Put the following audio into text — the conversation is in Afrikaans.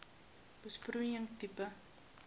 besproeiing tipe